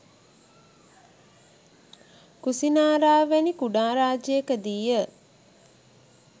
කුසිනාරාව වැනි කුඩා රාජ්‍යයකදී ය.